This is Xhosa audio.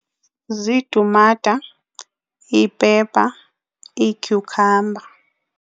Ziitumata, ii-pepper, ii-cucumber.